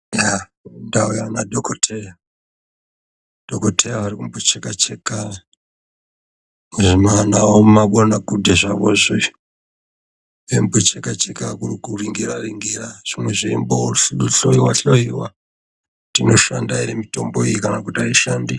Yaa, ndauya nadhokodheya ,dhokodheya uri kumbo cheka-cheka nezvimanagwaanakudhe zvawo zvo izvo eimbocheka-cheka, kuringiraringira, zvimwe zveimbohloyiwa-hloyiwa kuti inoshanda ere mitombo iyi kana kuti aishandi.